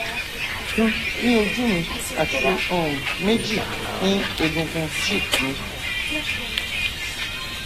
kan ní ojú mi àti um méjì ní egungun cheeck mi